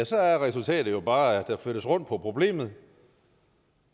så er resultatet jo bare at der flyttes rundt på problemet